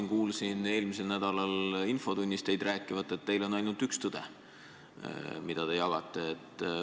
Ma kuulsin teid eelmisel nädalal siin infotunnis rääkivat, et teil on ainult üks tõde, mida te jagate.